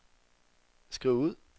skriv ud